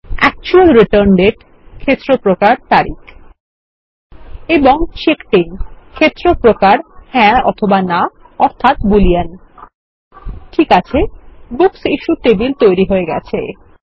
actual return date ক্ষেত্র প্রকার তারিখ এবং চেকড আইএন ক্ষেত্র প্রকার হ্যাঁ না অর্থাত বুলিয়ান ঠিক আছে বুকস ইশ্যুড টেবিল তৈরী হয়ে গেছে